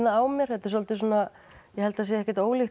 á mér þetta er svolítið svona ég held það sé ekkert ólíkt